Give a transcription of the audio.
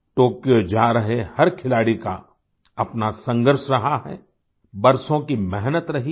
Tokyo जा रहे हर खिलाड़ी का अपना संघर्ष रहा है बरसों की मेहनत रही है